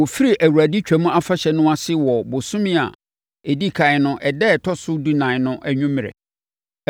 Wɔfiri Awurade Twam Afahyɛ no ase wɔ ɔbosome a ɛdi ɛkan no ɛda ɛtɔ so dunan no anwummerɛ.